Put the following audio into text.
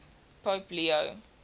pope leo